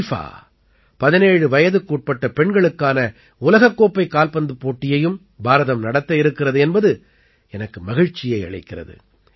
FIFA 17 வயதுக்குட்பட்ட பெண்களுக்கான உலகக் கோப்பைக் கால்பந்துப் போட்டியையும் பாரதம் நடத்த இருக்கிறது என்பது எனக்கு மகிழ்ச்சியை அளிக்கிறது